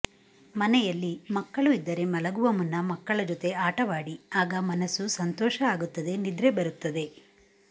ಮನೆಯಲ್ಲಿ ಮಕ್ಕಳು ಇದ್ದರೆ ಮಲಗುವ ಮುನ್ನ ಮಕ್ಕಳ ಜೊತೆ ಆಟವಾಡಿ ಆಗ ಮನಸ್ಸು ಸಂತೋಷ ಆಗುತ್ತದೆ ನಿದ್ರೆ ಬರುತ್ತದೆ